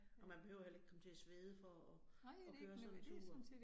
Og man behøver heller ikke komme til at svede for at at køre sådan en tur